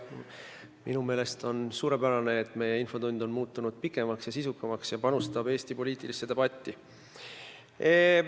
Minu meelest on suurepärane, et infotund on muutunud pikemaks ja sisukamaks ja panustab Eesti poliitilisse debatti.